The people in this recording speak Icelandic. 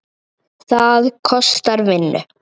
Það kostar vinnu!